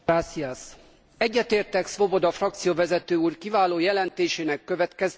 Egyetértek Swoboda frakcióvezető úr kiváló jelentésének következtetéseivel.